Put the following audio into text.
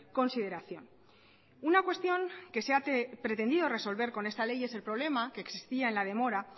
consideración una cuestión que se ha pretendido resolver con esta ley es el problema que existía en la demora